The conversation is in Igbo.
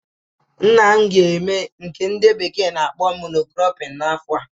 Nna m ga eme nke the bekee na akpọ "mono cropping" n'afọ a